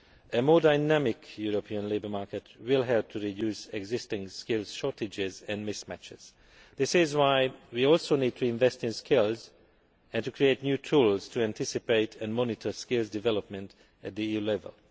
A more dynamic European labour market will help to reduce existing skill shortages and mismatches. This is why we also need to invest in skills and to create new tools to anticipate and monitor skills development at the EU level.